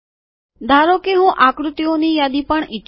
ધારો કે હું આકૃતિઓની યાદી પણ ઈચ્છું છું